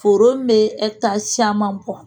Foro min bɛ caman bɔ